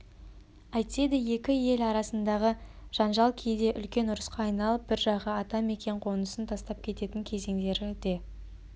әйтседе екі ел арасындағы жанжал кейде үлкен ұрысқа айналып бір жағы ата мекен қонысын тастап кететін кезеңдері де